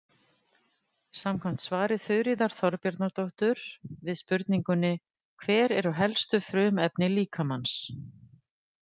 Samkvæmt svari Þuríðar Þorbjarnardóttur við spurningunni Hver eru helstu frumefni líkamans?